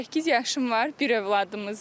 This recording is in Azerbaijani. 28 yaşım var, bir övladımız var.